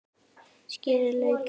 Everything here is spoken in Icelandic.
Skerið laukinn smátt.